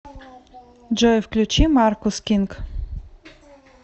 джой включи маркус кинг